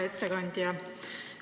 Hea ettekandja!